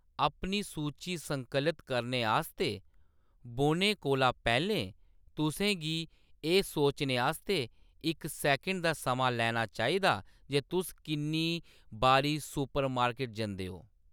अपनी सूची संकलित करने आस्तै बौह्‌‌‌ने कोला पैह्‌‌‌लें, तुसें गी एह्‌‌ सोचने आस्तै इक सैकंड दा समां लैना चाहिदा जे तुस किन्नी बारी सुपरमार्केट जंदे हो।